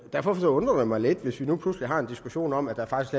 derfor undrer det mig lidt hvis vi nu pludselig har en diskussion om at der faktisk